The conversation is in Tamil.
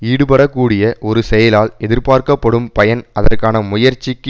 ஈடுபடக்கூடிய ஒரு செயலால் எதிர்பார்க்கப்படும் பயன் அதற்கான முயற்சிக்கு